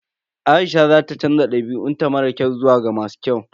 Aisha za ta canza dabi'un ta mara kyau zuwa masu kyau.